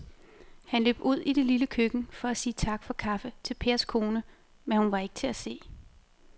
Han løb ud i det lille køkken for at sige tak for kaffe til Pers kone, men hun var ikke til at se.